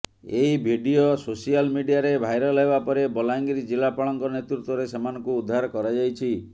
ଏହି video social ମିଡ଼ିଆରେ viral ହେବାପରେ ବଲାଙ୍ଗିର ଜିଲ୍ଲାପାଳଙ୍କ ନେତୃତ୍ବରେ ସେମାନଙ୍କୁ ଉଦ୍ଧାର କରାଯାଇଛି